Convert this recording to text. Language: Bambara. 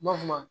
N b'a fɔ